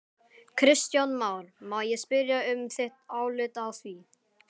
Kristján Már: Má ég spyrja um þitt álit á því?